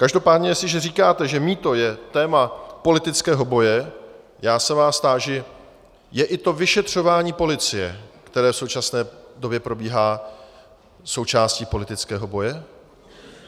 Každopádně jestliže říkáte, že mýto je téma politického boje, já se vás táži: Je i to vyšetřování policie, které v současné době probíhá, součástí politického boje?